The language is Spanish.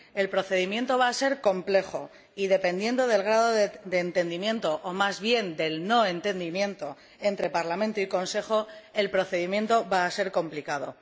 El procedimiento va a ser complejo y, dependiendo del grado de entendimiento o, más bien, de no entendimiento entre Parlamento y Consejo, el procedimiento va a ser complicado.